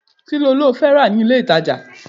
Kíló lọ rà ní ilé-ìtàjà?